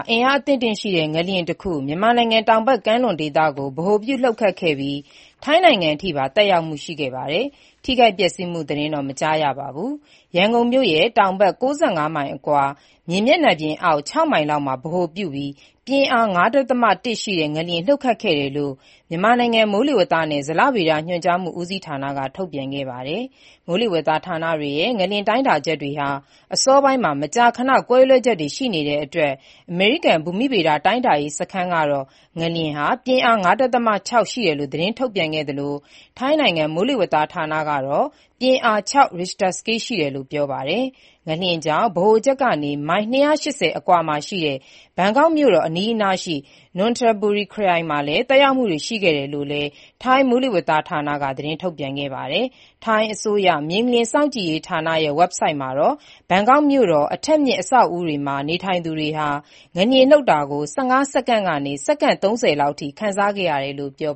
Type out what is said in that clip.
အင်အားအသင့်အတင့်ရှိတဲ့ ငလျင်တခု မြန်မာနိုင်ငံ တောက်ဖက်ကမ်းလွန်ဒေသမှာ ဗဟိုပြုလှုပ်ခတ်ခဲ့ရာမှာ ထိုင်းနိုင်ငံအထိပါ သက်ရောက်မှု ရှိခဲ့ပြီး ထိခိုက်ပျက်စီးမှု သတင်းတော့ မကြားရပါဘူး။ ဒီနေ့ နံနက်ပိုင်းက ရန်ကုန်မြို့ရဲ့ တောင်ဘက် ၉၅ မိုင်ခန့်အကွာ၊ မြေမျက်နှာပြင်အောက် ၆ မိုင်လောက်မှာ ဗဟိုပြုပြီး ပြင်းအား ၅.၁ ရှိတဲ့ ငလျင်လှုပ်ခတ်ခဲ့တယ်လို့ မြန်မာနိုင်ငံ မိုးလေဝသနဲ့ ဇလဗေဒညွှန်ကြားမှု ဦးစီးဌာနက ထုတ်ပြန်ခဲ့ပါတယ်။ မိုးလေဝသဌာနတွေရဲ့ ငလျင်တိုင်းတာချက်တွေဟာ မကြာခဏ အစောပိုင်းမှာ ကွဲလွဲချက်တွေ ရှိတတ်ပါတယ်။ အမေရိကန် ဘူမိဗေဒ တိုင်းတာရေး စခန်းကတော့ ငလျင်ဟာ ပြင်းအား ၅.၆ ရှိတယ်လို့ သတင်းထုတ်ပြန်ခဲ့သလို၊ ထိုင်းနိုင်ငံ မိုးလေဝသဌာနကတော့ ပြင်းအား ၆ ရစ်ခ်ျတာစကေးရှိတယ်လို့ ပြောပါတယ်။ ငလျင်ကြောင့် ဗဟိုချက်ကနေ မိုင် ၂၈၀ ခန့်အကွာ ဘန်ကောက်မြို့တော်နဲ့ အနီးနားရှိ နွန်ထဘူရီခရိုင်တို့မှာ သက်ရောက်မှုတွေ ရှိခဲ့တယ်လို့လည်း ထိုင်းမိုးလေဝသဌာနက သတင်းထုတ်ပြန်ခဲ့တာပါ။ ထိုင်းအစိုးရ မြေငလျင်စောင့်ကြည့်ရေးဌာနရဲ့ ဝဘ်ဆိုဒ်မှာတော့ ဘန်ကောက်မြို့တော် အထပ်မြင့် အဆောက်အဦးတွေမှာ နေထိုင်သူတွေဟာ ငလျင်လှုပ်တာကို ၁၅ စက္ကန့်ကနေ၊ စက္ကန့် ၃၀ လောက်အထိ ခံစားခဲ့ရတယ်လို့ ဖော်